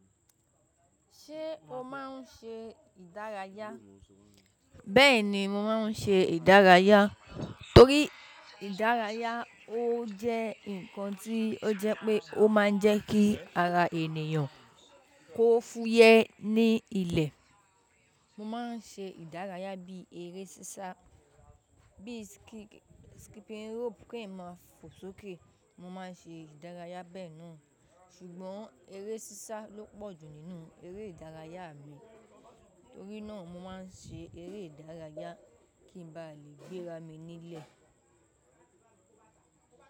Ṣé o máa ń ṣe ìdárayá? Bẹ́ẹ̀ni, mo máa ń ṣe ìdárayá torí ìdárayá ó jẹ́ nǹkan tí ó jẹ́ pé ó máa ń jẹ́ kí ara ènìyàn kó fúyẹ́ ní ilẹ̀. Mo máa ń ṣe ìdárayá bí eré sísá, bí skipping rope kì ń máa fo sókè. Mo máa ń ṣe ìdárayá bẹ́ẹ̀ náà. Ṣùgbọ́n eré sísá ló pọ̀jù nínú eré ìdárayá mi. Torí náà mo máa ń ṣe eré ìdárayá kí n ba lè gbéra mi nílẹ̀